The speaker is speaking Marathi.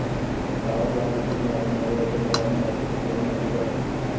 गावाबाहेर जुने आणि नवे असे भवानी मातेची दोन मंदिरे आहेत